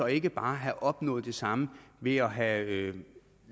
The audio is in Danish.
ikke bare have opnået det samme ved at have